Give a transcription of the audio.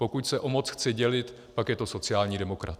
Pokud se o moc chce dělit, pak je to sociální demokrat.